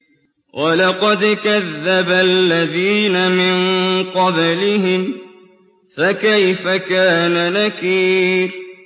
وَلَقَدْ كَذَّبَ الَّذِينَ مِن قَبْلِهِمْ فَكَيْفَ كَانَ نَكِيرِ